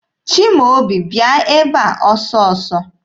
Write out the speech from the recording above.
Chimaobi, bịa ebe a ọsọ ọsọ!